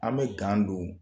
An bɛ don